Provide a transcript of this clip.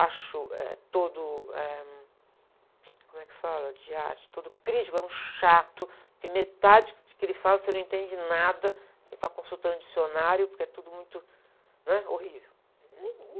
Acho, eh, todo, eh, como é que fala, de arte, todo crítico é um chato, porque metade do que ele fala você não entende nada, tem que ficar consultando dicionário, porque é tudo muito, né? Horrível.